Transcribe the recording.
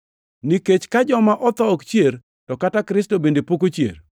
Nikech ka joma otho ok chier, to kata Kristo bende pok ochier.